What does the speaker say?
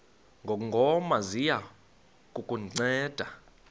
ngongoma ziya kukunceda